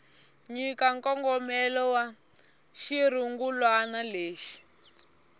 nyika nkongomelo wa xirungulwana lexi